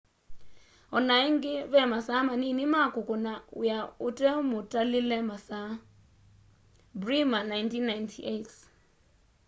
onaĩngĩ vemasaa manini ma kũkũna wĩa ũtemũtalĩle masaa. bremer 1998